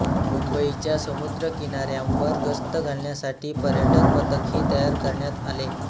मुंबईच्या समुद्रकिनाऱ्यांवर गस्त घालण्यासाठी पर्यटक पथकही तयार करण्यात आले